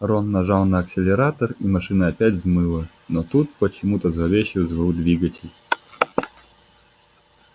рон нажал на акселератор и машина опять взмыла но тут почему-то зловеще взвыл двигатель